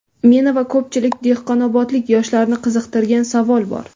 Meni va ko‘pchilik dehqonobodlik yoshlarni qiziqtirgan savol bor.